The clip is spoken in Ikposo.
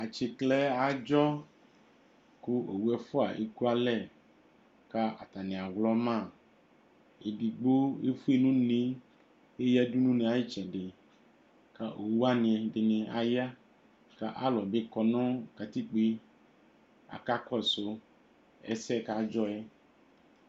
Atsiklɛ adzɔ Ku owu ɛfua ekuãlɛ ku atani awlɔma Edigbo efue nu une ku eyadu nu une yɛ ayu itsɛdi Ku owuwani ɛdini aya Ku alu bi kɔ nu katikpo yɛ ku aka kɔsu ɛsɛ yɛ ku adzɔ yɛ